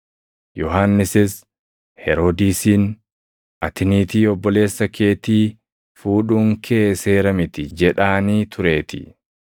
Yohannisis Heroodisiin, “Ati niitii obboleessa keetii fuudhuun kee seera miti” jedhaanii tureetii.